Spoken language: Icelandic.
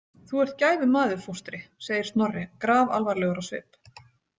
Þú ert gæfumaður, fóstri, segir Snorri grafalvarlegur á svip.